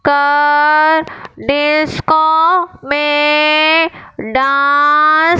car disco मे dance --